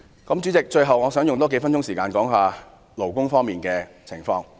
最後，代理主席，我想用數分鐘時間談談勞工方面的事宜。